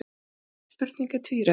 Þessi spurning er tvíræð.